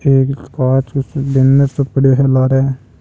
एक कांच को बैनर सो पड़ा है लार।